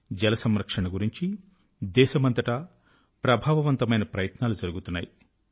జల సంరక్షణ గురించి దేశమంతటా అనేకమైన ఎరుక కలిగిన ప్రభావవంతమైన ప్రయత్నాలు జరుగుతున్నాయి